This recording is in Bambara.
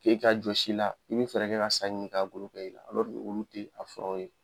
K'e ka jɔsi la i bɛ fɛrɛ ka sa ɲini k'a golo kɛ i la olu tɛ a furaw ye.